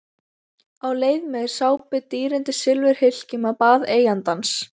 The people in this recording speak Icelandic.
Á leið með sápu í dýrindis silfurhylkjum á bað eigandans.